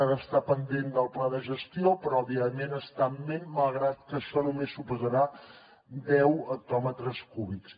ara està pendent del pla de gestió però òbviament està en ment malgrat que això només suposarà deu hectòmetres cúbics